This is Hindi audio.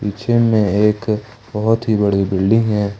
पीछे में एक बहुत ही बड़ी बिल्डिंग है।